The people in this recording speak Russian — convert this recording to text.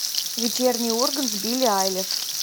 вечерний ургант с билли айлиш